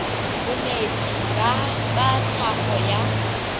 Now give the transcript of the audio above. bonetshi ba tsa tlhago ba